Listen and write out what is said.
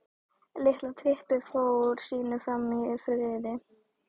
Litla trippið fór sínu fram í friði.